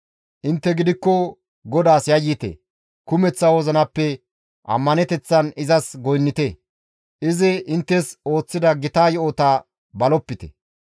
Intte gidikko GODAAS yayyite; kumeththa wozinappe ammaneteththan izas goynnite; izi inttes ooththida gita yo7ota balopite.